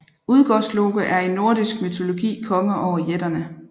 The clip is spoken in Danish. Udgårdsloke er i nordisk mytologi konge over jætterne